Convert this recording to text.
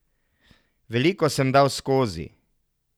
Veliko sem dal skozi.